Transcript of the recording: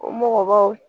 O mɔgɔbaw